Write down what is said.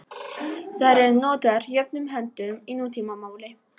Þær eru notaðar jöfnum höndum í nútímamáli.